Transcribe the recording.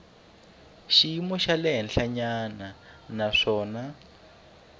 xiyimo xa le henhlanyana naswona